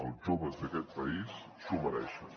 els joves d’aquest país s’ho mereixen